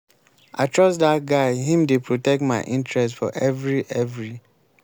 i trust dat guy him dey protect my interest for every every.